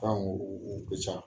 Fɛnw u ka. ca